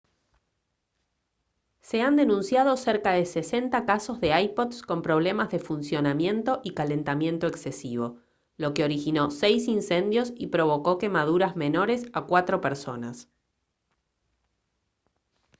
se han denunciado cerca de 60 casos de ipods con problemas de funcionamiento y calentamiento exesivo lo que originó seis incendios y provocó quemaduras menores a cuatro personas